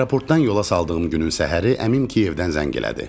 Aeroportdan yola saldığım günün səhəri əmim Kiyevdən zəng elədi.